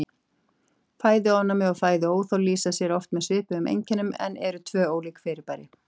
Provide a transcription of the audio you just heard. Fæðuofnæmi og fæðuóþol lýsa sér oft með svipuðum einkennum en eru tvö ólík fyrirbæri.